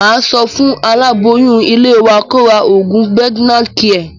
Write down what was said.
Màá sọ fún aláboyún ilé wa kó ra oògùn Pregnacare